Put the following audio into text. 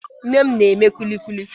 Nne m na-eme kulikuli